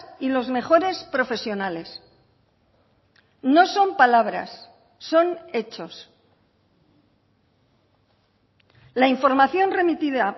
y los mejores profesionales no son palabras son hechos la información remitida